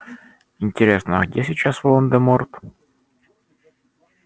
интересно а где сейчас волан-де-морт